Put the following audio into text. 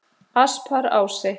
Asparási